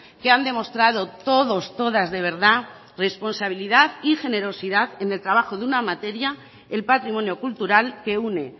que han demostrado todos todas de verdad responsabilidad y generosidad en el trabajo de una manera el patrimonio cultural que une